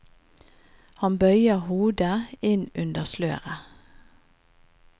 Han bøyer hodet inn under sløret.